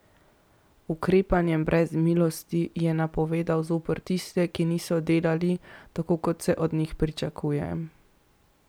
Ukrepanje brez milosti je napovedal zoper tiste, ki niso delali tako, kot se od njih pričakuje.